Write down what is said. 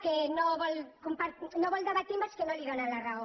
que no vol debatre amb els que no li donen la raó